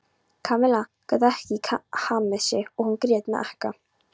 Kamilla gat ekki hamið sig og hún grét með ekka.